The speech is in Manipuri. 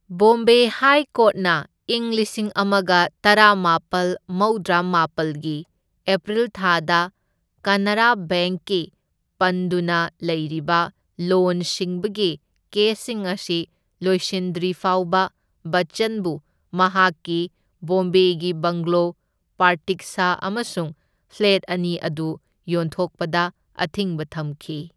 ꯕꯣꯝꯕꯦ ꯍꯥꯏ ꯀꯣꯔꯠꯅ ꯏꯪ ꯂꯤꯁꯤꯡ ꯑꯃꯒ ꯇꯔꯥꯃꯥꯄꯜ ꯃꯧꯗ꯭ꯔꯥꯃꯥꯄꯜꯒꯤ ꯑꯦꯄ꯭ꯔꯤꯜ ꯊꯥꯗ ꯀꯅꯥꯔꯥ ꯕꯦꯡꯛꯀꯤ ꯄꯟꯗꯨꯅ ꯂꯩꯔꯤꯕ ꯂꯣꯟ ꯁꯤꯡꯕꯒꯤ ꯀꯦꯁꯁꯤꯡ ꯑꯁꯤ ꯂꯣꯏꯁꯤꯟꯗ꯭ꯔꯤꯐꯥꯎꯕ ꯕꯆꯆꯟꯕꯨ ꯃꯍꯥꯛꯀꯤ ꯕꯣꯝꯕꯦꯒꯤ ꯕꯪꯒꯂꯣ ꯄ꯭ꯔꯇꯤꯛꯁꯥ ꯑꯃꯁꯨꯡ ꯐ꯭ꯂꯦꯠ ꯑꯅꯤ ꯑꯗꯨ ꯌꯣꯟꯊꯣꯛꯄꯗ ꯑꯊꯤꯡꯕ ꯊꯝꯈꯤ꯫